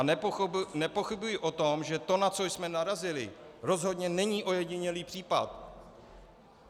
A nepochybuji o tom, že to, na co jsme narazili, rozhodně není ojedinělý případ.